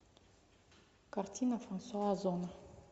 картина франсуа озон